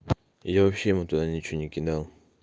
я вообще ему туда ничего не кидал